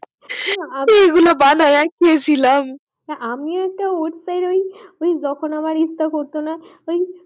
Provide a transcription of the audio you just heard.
সেই গুলো বানাইয়া খাইছিলাম আমিও তো যখন আমার ইচ্ছে করতো না তো আমি